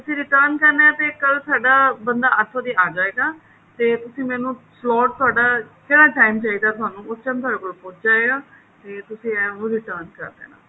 ਤੁਸੀਂ return ਕਰਨਾ ਹੈ ਤਾਂ ਕੱਲ ਸਾਦਾ ਬੰਦਾ ਇੱਥੋ ਦੀ ਆ ਜਾਏਗਾ ਤੇ ਤੁਸੀਂ ਮੈਨੂੰ slot ਤੁਹਾਡਾ ਕਿਹੜਾ time ਚਾਹਿਦਾ ਤੁਹਾਨੂੰ ਉਸ time ਤੁਹਾਡੇ ਕੋਲ ਪਹੁੰਚ ਜਾਏਗਾ ਤੇ ਤੁਸੀਂ ਇਹ ਉਹਨੂੰ return ਕਰ ਦੇਣਾ